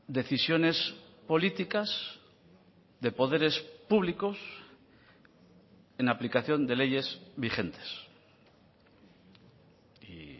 decisiones políticas de poderes públicos en aplicación de leyes vigentes y